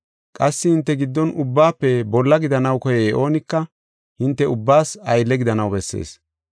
Qassi hinte giddon ubbaafe bolla gidanaw koyey oonika hinte ubbaas aylle gidanaw bessees.